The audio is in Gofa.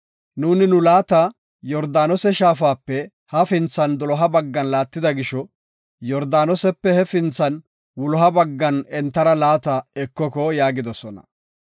Nuuni nu laata Yordaanose shaafape hafinthan doloha baggan laattida gisho, Yordaanosepe hefinthan wuloha baggan entara laata ekoko” yaagidosona.